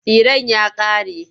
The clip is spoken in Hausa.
Tsiren ya ƙare.